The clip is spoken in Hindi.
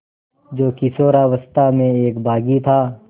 जो किशोरावस्था में एक बाग़ी था